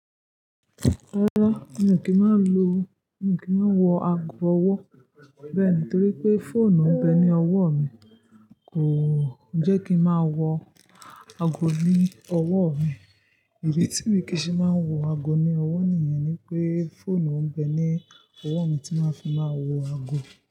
Rárá, mi ò kí máa lo-- mi ò kí má wọ ago ọwọ́ bẹ́ẹ̀ ní torí pé fóònù ń bẹ ní ọwọ́ mi kò-- ò jẹ́ kí ń máa wọ ago ní ọwọ́ mi. Ìdí tí mí kì í ṣe máa ń wọ ago ní ọwọ́ nìyẹn ni pé fóònù ń bẹ ní ọwọ́ mi tí máa fi máa wọ ago.